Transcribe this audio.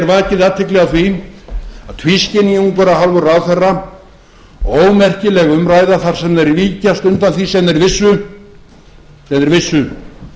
vakið athygli á því að tvískinningur af hálfu ráðherra og ómerkileg umræða þar sem þeir víkjast undan því sem þeir vissu